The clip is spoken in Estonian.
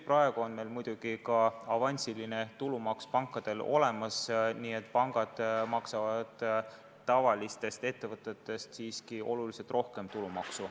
Praegu on meil pankadel muidugi ka avansiline tulumaks kehtestatud, nii et pangad maksavad meie süsteemi kohaselt tavalistest ettevõtetest siiski oluliselt rohkem tulumaksu.